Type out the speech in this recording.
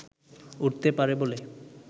উঠতে পারে বলে